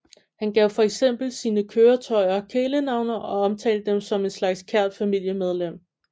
Han gav for eksempel sine køretøjer kælenavne og omtalte dem som en slags kært familiemedlem